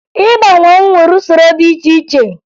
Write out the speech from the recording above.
Ịba mmanwụ nwere usoro dị iche iche